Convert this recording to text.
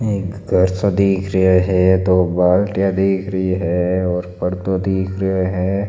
एक घर सा दिख रहा है दो बालटिया दिख रही है और पर्दो दिख रहा है।